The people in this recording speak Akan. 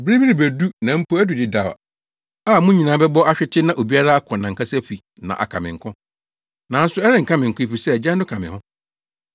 Bere bi rebedu; na mpo adu dedaw a mo nyinaa bɛbɔ ahwete na obiara akɔ nʼankasa fi na aka me nko. Nanso ɛrenka me nko efisɛ Agya no ka me ho.